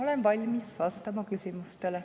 Olen valmis vastama küsimustele.